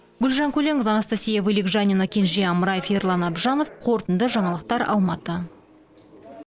гүлжан көленқызы анастасия вылегжанина кенже амраев ерлан абжанов қорытынды жаңалықтар алматы